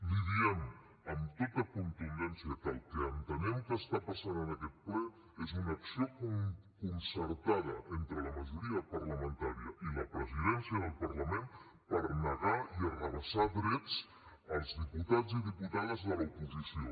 li diem amb tota contundència que el que entenem que està passant en aquest ple és una acció concertada entre la majoria parlamentària i la presidència del parlament per negar i arrabassar drets als diputats i diputades de la oposició